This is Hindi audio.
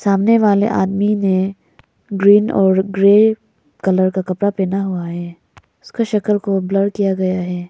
सामने वाले आदमी ने ग्रीन और ग्रे कलर का कपड़ा पहना हुआ है उसका शक्ल को ब्लर किया गया है।